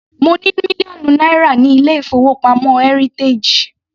Mo ní mílíọ̀nù náírà ní ilé-ìfowópamọ́ heritage.